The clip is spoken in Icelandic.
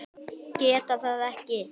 Geta það ekki.